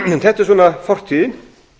þetta er fortíðin